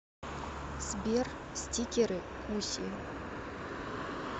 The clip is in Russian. сбер стикеры куси